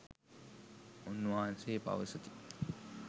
උන්වහන්සේ පවසති.